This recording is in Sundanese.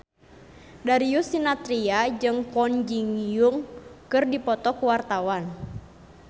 Darius Sinathrya jeung Kwon Ji Yong keur dipoto ku wartawan